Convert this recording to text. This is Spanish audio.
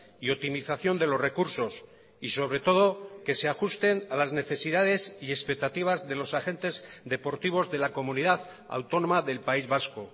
y optimización de los recursos y sobre todo que se ajusten a las necesidades y expectativas de los agentes deportivos de la comunidad autónoma del país vasco